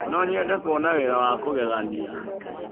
No nyende kuona wĩra wa kũgegania.